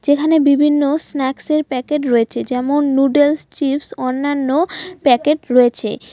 এখানে বিভিন্ন স্ন্যাকস -এর প্যাকেট রয়েছে যেমন- নুডুলস চিপস অন্যান্য প্যাকেট রয়েছে।